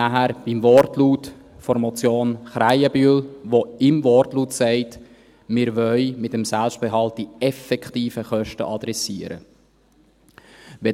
Damit sind wir bei der Motion Krähenbühl, die im Wortlaut sagt, dass wir mit dem Selbstbehalt die effektiven Kosten adressieren wollen.